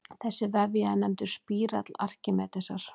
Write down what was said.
Þessi vefja er nefndur spírall Arkímedesar.